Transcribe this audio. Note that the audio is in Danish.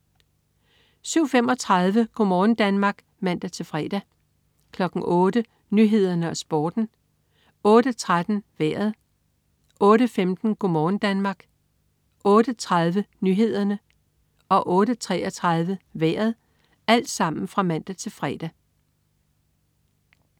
07.35 Go' morgen Danmark (man-fre) 08.00 Nyhederne og Sporten (man-fre) 08.13 Vejret (man-fre) 08.15 Go' morgen Danmark (man-fre) 08.30 Nyhederne (man-fre) 08.33 Vejret (man-fre)